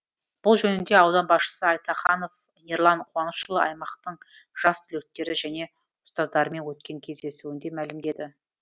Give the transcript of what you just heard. бұл жөнінде аудан басшысы айтаханов ерлан қуанышұлы аймақтың жас түлектері және ұстаздарымен өткен кездесуінде мәлімдеді